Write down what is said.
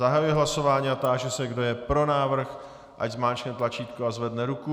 Zahajuji hlasování a táži se, kdo je pro návrh, ať zmáčkne tlačítko a zvedne ruku.